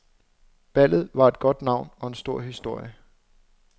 Ballet et godt navn og en stor historie.